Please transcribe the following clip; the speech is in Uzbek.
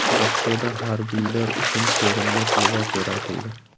Rossiyada harbiylar uchun ko‘rinmas libos yaratildi.